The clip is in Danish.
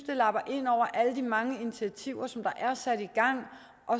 lapper ind over alle de mange initiativer